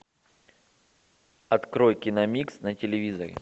открой киномикс на телевизоре